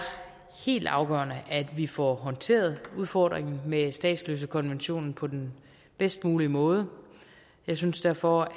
helt afgørende at vi får håndteret udfordringen med statsløsekonventionen på den bedst mulige måde og jeg synes derfor